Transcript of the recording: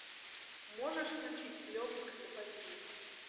можешь включить легок на помине